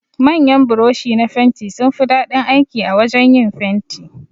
Manyan buroshi na fenti sunfi daɗin aiki a wajan yin fenti.